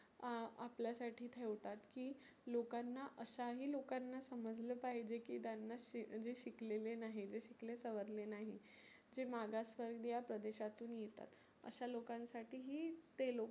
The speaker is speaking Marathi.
अ आपल्यासाठी ठेवतात की लोकांना अशा ही लोकांना समजल पाहिजे की त्यांना शी जे शिकलेले नाही, जे शिकले सवरले नाही जे मागास वर्गिय प्रदेशातुन येतात अशा लोकांसाठी ही ते लोक